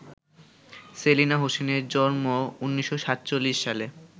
সেলিনা হোসেনের জন্ম ১৯৪৭ সালে।